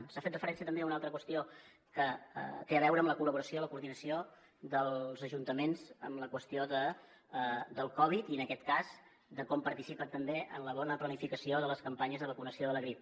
s’ha fet referència també a una altra qüestió que té a veure amb la col·laboració la coordinació dels ajuntaments en la qüestió del covid i en aquest cas de com participen també en la bona planificació de les campanyes de vacunació de la grip